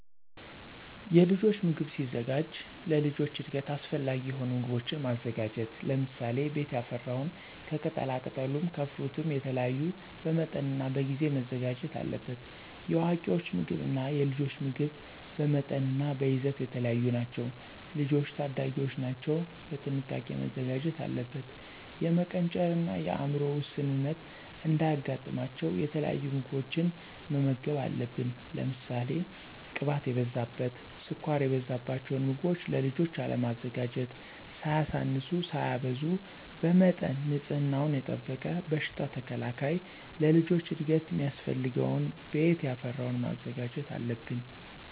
የልጆች ምግብ ሲዘጋጅ ለልጆች እድገት አሰፈላጊ የሆኑ ምጎቦችን ማዘጋጀት ለምሳሌ፦ ቤት ያፈራውን ከቅጣላቅጠሉም ከፍሩትም የተለያዩ በመጠንናበጊዜ መዘጋጀት አለበት። የአዋቂወች ምግብ እና የልጆች ምግብ በመጠንናበይዘት የተለያዩ ናቸው። ልጆች ታዳጊወች ናቸው ቀጥንቃ መዘጋጀት አለበት። የመቀንጨርን የአምሮ ውስንነት እንዳያጋጥማቸው የተለያዩ ምግቦችን መመገብ አለብን። ለምሳሌ ቅባት የበዛበት፣ ስኳር የበዛበቸውን ምገቦችን ለልጆች አለማዘጋጀት። ሳያሳንሱ ሳያበዙ በመጠን ንፅህናወን የጠበቀ በሽታ ተከላካይ ለልጆች እድገት ሚያስፈልገውን ቤት ያፈራወን ማዘጋጀት አለብን።